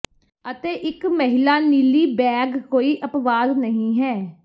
ਅਤੇ ਇੱਕ ਮਹਿਲਾ ਨੀਲੀ ਬੈਗ ਕੋਈ ਅਪਵਾਦ ਨਹੀਂ ਹੈ